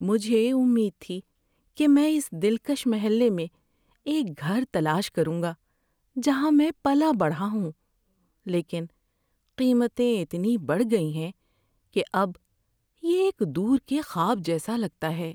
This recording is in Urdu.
‏مجھے امید تھی کہ میں اس دلکش محلے میں ایک گھر تلاش کروں گا جہاں میں پلا بڑھا ہوں، لیکن قیمتیں اتنی بڑھ گئی ہیں کہ اب یہ ایک دور کے خواب جیسا لگتا ہے۔